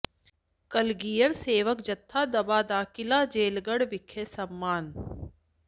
ਕਲਗੀਧਰ ਸੇਵਕ ਜਥਾ ਦੁਆਬਾ ਦਾ ਕਿਲ੍ਹਾ ਹੋਲਗੜ੍ਹ ਵਿਖੇ ਸਨਮਾਨ